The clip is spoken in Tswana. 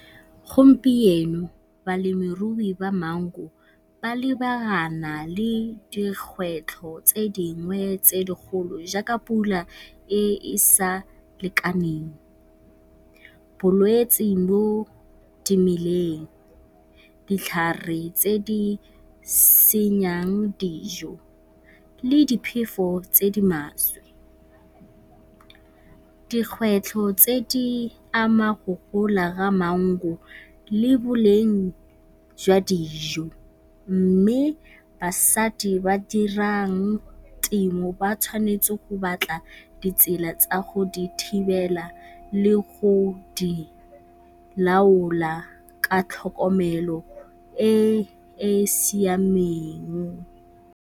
Gompieno balemirui ba maungo ba lebagana le dikgwetlho tse dingwe tse dikgolo jaaka pula e e sa lekaneng, bolwetse mo dimeleng, ditlhare tse di senyang dijo le diphefo tse di maswe. Dikgwetlho tse di ama go gola ga maungo le boleng jwa dijo mme basadi ba dirang temo ba tshwanetse go batla ditsela tsa go di thibela le go di laola ka tlhokomelo e e siameng.